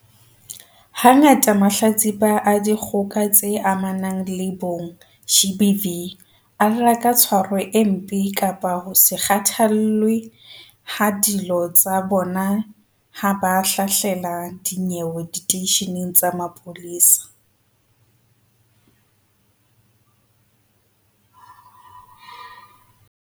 Hangata mahlatsipa a dikgoka tse amanang le bong, GBV, a lla ka tshwaro e mpe kapa ho se kgathallwe ha dillo tsa bona ha ba hlahlela dinyewe diteisheneng tsa mapolesa.